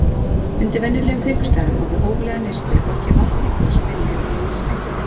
Undir venjulegum kringumstæðum og við hóflega neyslu er hvorki vatn né gos beinlínis hættulegt.